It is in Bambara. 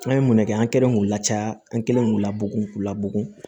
An ye mun ne kɛ an kɛlen k'u lacaya an kɛlen k'u labugu k'u labugu